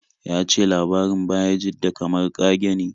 Ya ce labarin Bayajidda kamar ƙage ne.